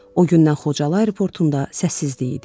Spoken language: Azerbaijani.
O gündən Xocalı aeroportunda səssizlik idi.